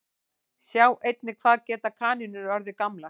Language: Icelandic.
Sjá einnig Hvað geta kanínur orðið gamlar?